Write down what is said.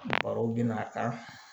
Barow bɛna ta